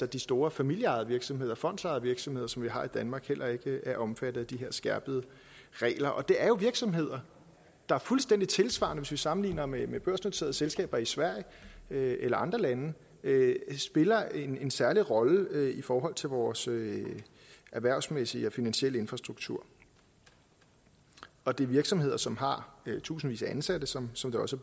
de store familieejede virksomheder fondsejede virksomheder som vi har i danmark heller ikke er omfattet af de her skærpede regler og det er jo virksomheder der fuldstændig tilsvarende hvis vi sammenligner med med børsnoterede selskaber i sverige eller andre lande spiller en en særlig rolle i forhold til vores erhvervsmæssige og finansielle infrastruktur og det er virksomheder som har tusindvis af ansatte som som det også